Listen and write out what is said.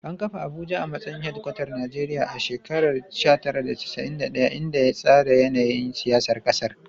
An kafa Abuja a matsayin hedkwatar Najeriya a shekarar 1991, inda ya tsara yanayin siyasar ƙasar.